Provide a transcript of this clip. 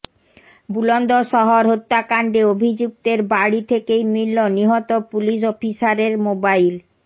বুলন্দশহর হত্যাকাণ্ডে অভিযুক্তের বাড়ি থেকেই মিলল নিহত পুলিস অফিসারের মোবাইল